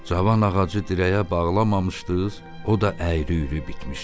Cavan ağacı dirəyə bağlamamışdız, o da əyri-üyrü bitmişdi.